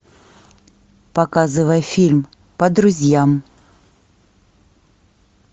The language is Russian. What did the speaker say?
показывай фильм по друзьям